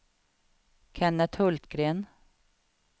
Kenneth Hultgren